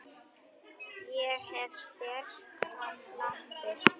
Ég hef sterkar lappir.